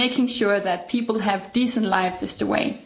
Making sure that people have decent lives is the way.